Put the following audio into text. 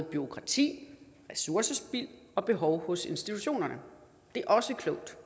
bureaukrati ressourcespild og behov hos institutionerne det er også klogt